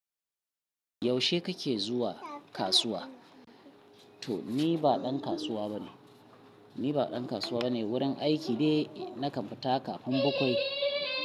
Yaushe kake zuwa kasuwa? To ni ba ɗan kasuwa bane, ni ba ɗan kasuwa bane wurin aiki ne na ka fita bakwai.